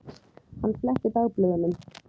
Hann fletti dagblöðunum.